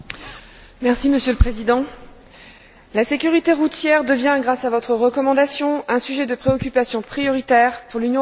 Monsieur le Président, la sécurité routière devient, grâce à votre recommandation, un sujet de préoccupation prioritaire pour l'Union européenne.